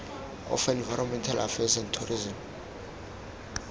of environmental affairs and tourism